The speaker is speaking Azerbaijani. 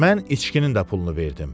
Mən içkinin də pulunu verdim.